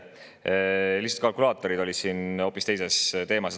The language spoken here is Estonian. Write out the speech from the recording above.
Kalkulaatorid olid lihtsalt siin hoopis teises teemas.